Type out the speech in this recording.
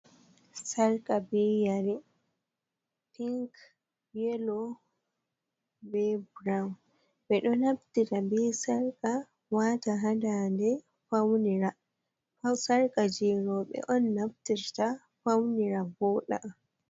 Sarka be yari pink, yelo, be burowun. ɓeɗo naftita be sarka wata hadande faunira, sarka jeroɓe on naftirta faunira voɗa.